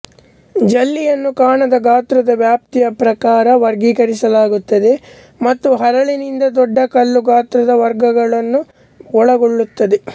ಜಲ್ಲಿಯನ್ನು ಕಣದ ಗಾತ್ರದ ವ್ಯಾಪ್ತಿಯ ಪ್ರಕಾರ ವರ್ಗೀಕರಿಸಲಾಗುತ್ತದೆ ಮತ್ತು ಹರಳಿನಿಂದ ದೊಡ್ಡ ಕಲ್ಲು ಗಾತ್ರದ ವರ್ಗಗಳನ್ನು ಒಳಗೊಳ್ಳುತ್ತದೆ